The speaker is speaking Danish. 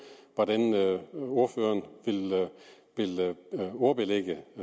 hvordan ordføreren vil ordbelægge